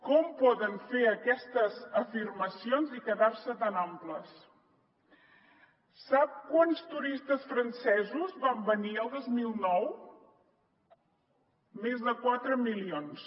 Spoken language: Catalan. com poden fer aquestes afirmacions i quedar se tan amples sap quants turistes francesos van venir el dos mil nou més de quatre milions